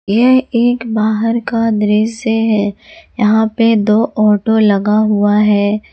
यह एक बाहर का दृश्य है यहां पे दो ऑटो लगा हुआ है।